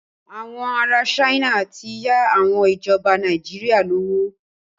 Àwọn ará China ti ń yá àwọn ìjọba Nàìjíríà lówó.